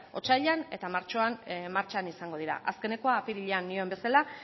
otsailean eta martxoan martxan izango dira azkenekoa apirilean nioen bezala